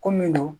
Ko min don